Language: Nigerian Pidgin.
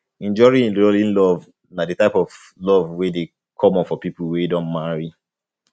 enduring enduring love na di type of um love um wey de common for pipo wey don marry